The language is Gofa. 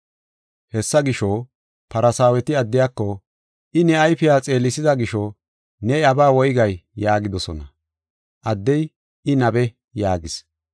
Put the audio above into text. Hessa gisho, Farsaaweti addiyako, “I ne ayfiya xeelisida gisho ne iyabaa woygay?” yaagidosona. Addey, “I nabe” yaagis.